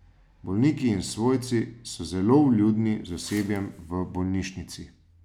Bolniki in svojci so zelo vljudni z osebjem v bolnišnici.